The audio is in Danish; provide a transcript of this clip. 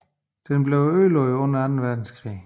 Den blev ødelagt under anden verdenskrig